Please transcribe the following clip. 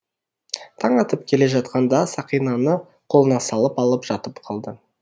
таң атып келе жатқанда сақинаны қолына салып алып жатып қалды